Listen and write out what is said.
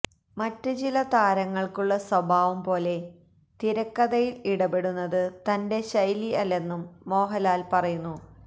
മറ്റ് ചില താരങ്ങള്ക്കുള്ള സ്വഭാവം പോലെ തിരക്കഥയില് ഇടപെടുന്നത് തന്റെ ശൈലി അല്ലെന്നും മോഹന്ലാല് പറയുന്നു